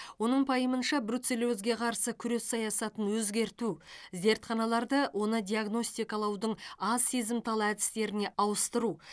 оның пайымынша бруцеллезге қарсы күрес саясатын өзгерту зертханаларды оны диагностикалаудың аз сезімтал әдістеріне ауыстыру